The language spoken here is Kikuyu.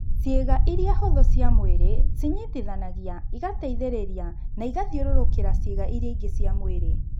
Ciĩga iria hũthũ cia mwĩrĩ, cĩnyitithanagia, igateithĩrĩria na igathiũrũrũkĩra ciĩga iria ingĩ cia mwĩrĩ.